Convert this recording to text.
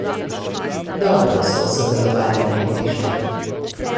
Dobro so sodelovali na igrišču.